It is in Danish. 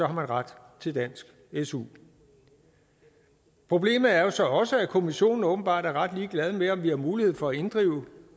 har man ret til dansk su problemet er jo så også at kommissionen åbenbart er ret ligeglad med om vi har mulighed for at inddrive